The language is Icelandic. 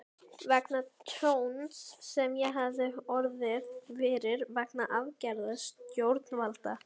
vegna tjóns sem ég hafði orðið fyrir vegna aðgerða stjórnvalda.